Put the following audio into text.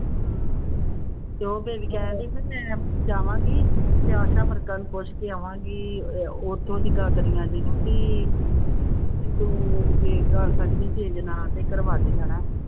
ਤੇ ਉਹ ਬੇਬੀ ਕਹਿਣਡੀ ਵੀ ਮੈਂ ਜਾਵਾਂਗੀ ਤੇ ਆਸਾ ਵਰਕਰਾਂ ਨੂੰ ਪੁੱਛ ਕੇ ਆਵਾਂਗੀ ਅਹ ਉਥੋਂ ਦੀ ਨੂੰ ਕਿ ਤੂੰ ਜੇ ਕਰ ਸਕਦੀ change ਨਾ ਤੇ ਕਰਵਾ ਦੇ ਹਨਾ।